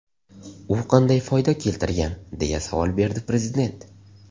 U qanday foyda keltirgan?”, deya savol berdi Prezident.